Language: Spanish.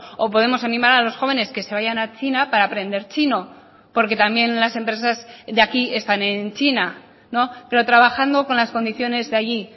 o podemos animar a los jóvenes que se vayan a china para aprender chino porque también las empresas de aquí están en china pero trabajando con las condiciones de allí